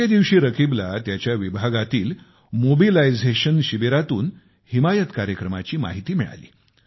एके दिवशी रकीबला त्याच्या विभागातील मोबिलायझेशन शिबिरातून हिमायत कार्यक्रमाची माहिती मिळाली